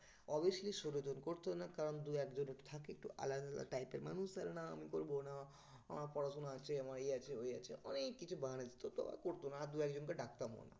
Obviously ষোলো জন করতো না কারণ দু একজন একটু থাকে একটু আলাদা আলাদা type এর মানুষ তো না আমি করবো না আমার পড়াশুনা আছে আমার ইয়ে আছে ওই আছে তো ওরা করতো না আর দু একজনকে ডাকতাম না